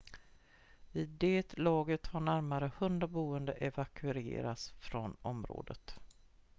vid det laget hade närmare 100 boende evakuerats från området